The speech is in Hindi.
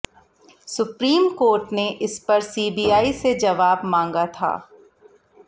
सुप्रीम कोर्ट ने इस पर सीबीआई से जवाब मांगा था